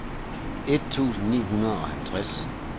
et tusind ni hundrede og halvtreds